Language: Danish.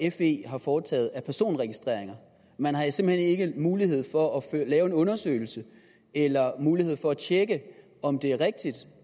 og fe har foretaget af personregistreringer man har simpelt hen ikke mulighed for at lave en undersøgelse eller mulighed for at tjekke om det er rigtigt